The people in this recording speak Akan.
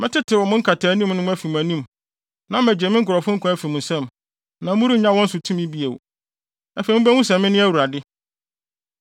Mɛtetew mo nkataanim no mu afi mo anim, na magye me nkurɔfo nkwa afi mo nsam, na morennya wɔn so tumi bio. Afei mubehu sɛ me ne Awurade.